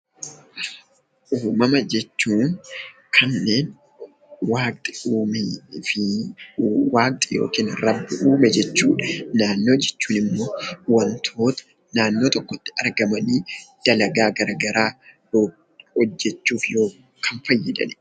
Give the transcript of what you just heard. Uumama jechuun kanneen waaqni uumee fi waaqni (Rabbi) uume jechuu dha. Naannoo jechuun immoo wantoota naannoo tokkotti argamanii dalagaa garaagaraa hojjechuuf kan fayyadani.